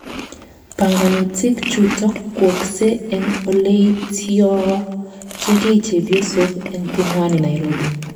Panganutik chutok kwookse eng oleityochegei chepyosok eng Pumwani Nairobi